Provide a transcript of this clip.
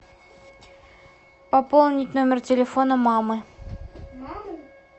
пополнить номер телефона мамы